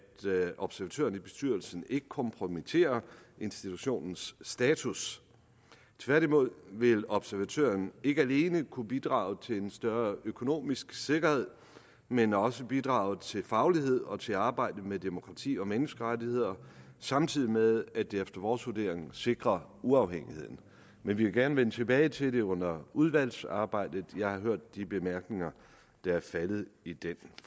observatøren i bestyrelsen ikke kompromitterer institutionens status tværtimod vil observatøren ikke alene kunne bidrage til en større økonomisk sikkerhed men også bidrage til faglighed og til arbejde med demokrati og menneskerettigheder samtidig med at det efter vores vurdering sikrer uafhængigheden men vi vil gerne vende tilbage til det under udvalgsarbejdet jeg har hørt de bemærkninger der er faldet i den